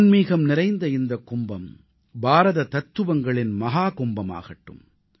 ஆன்மீகம் நிறைந்த இந்தக் கும்பம் பாரத தத்துவங்களின் மஹாகும்பமாகட்டும்